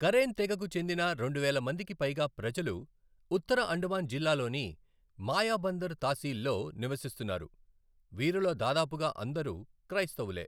Karem తెగకు చెందిన రెండువేల మందికి పైగా ప్రజలు ఉత్తర అండమాన్ జిల్లాలోని మాయాబందర్ తాశీల్లో నివసిస్తున్నారు, వీరిలో దాదాపుగా అందరూ క్రైస్తవులే.